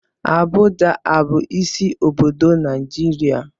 Abuja a bụ isi obodo Naịjirịa?